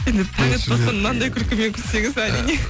таң атпастан мынандай күлкімен күлсеңіз әрине